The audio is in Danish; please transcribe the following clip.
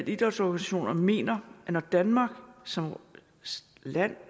idrætsorganisationerne mener at når danmark som land